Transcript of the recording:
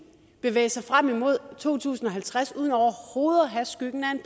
bevæge sig frem imod to tusind og halvtreds uden overhovedet at have skyggen af en